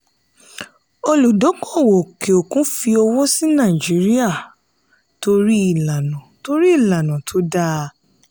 olúdókòwò òkè òkun fi owó sí nàìjíríà torí ìlànà torí ìlànà tó dáa.